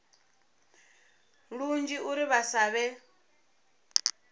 lunzhi uri vha sa vhe